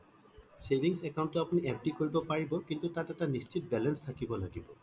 savings account টো আপুনি FD কৰিব পাৰিব কিন্তু তাত এটা নিশ্চিত balance থাকিব লাগিব